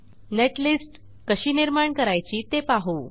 netlist कशी निर्माण करायची ते पाहू